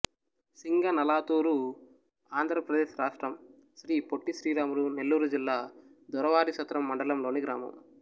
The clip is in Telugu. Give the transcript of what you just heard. సింగనలాతూరు ఆంధ్ర ప్రదేశ్ రాష్ట్రం శ్రీ పొట్టి శ్రీరాములు నెల్లూరు జిల్లా దొరవారిసత్రం మండలంలోని గ్రామం